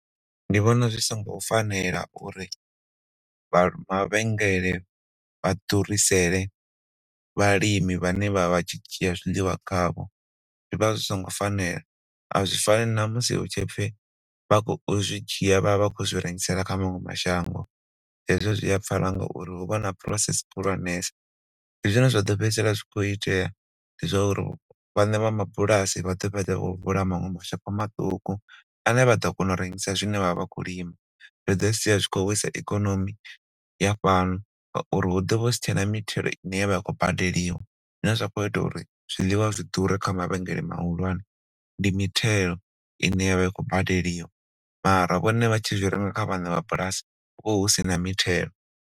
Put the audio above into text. Ndi vhona zwi songo fanela uri vha mavhengele vha ḓurisele vhalimi vhane vhaya vha tshi dzhia zwiḽiwa kha vho zwi vha zwi songo fanela a zwifani na musi hu tshipfi vha khou zwi dzhia vhavha vha khou zwi rengisela kha maṅwe mashango hezwo zwi a pfala ngauri hu vha huna process khulwanesa ndi zwine zwa ḓo fhedzisela zwi khou itea ndi zwauri vhaṋe vha bulasi vha ḓo fhedza vha vula maṅwe mashopo maṱuku ane vha ḓo kona u rengisa zwine vhavha vha khou lima. Zwi ḓo sia zwi khou wisa ikonomi ya fhano ngauri hu ḓo vha husi tshena mithelo ine ya khou badeliwa zwine zwa khou ita uri zwiḽiwa zwi ḓure kha mavhengele mahulwane ndi mithelo ine ya vha i khou badeliwa mara vhone vha tshi zwi renga kha vhaṋe vha bulasi hu vha hu sina mithelo.